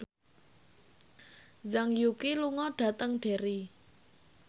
Zhang Yuqi lunga dhateng Derry